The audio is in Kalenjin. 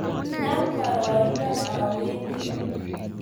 nam boroito awendi